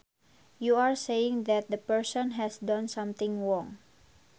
you are saying that the person has done something wrong